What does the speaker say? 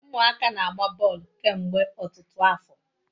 Umuaka na-agba boolu kemgbe otutu afo